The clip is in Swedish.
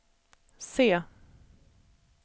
se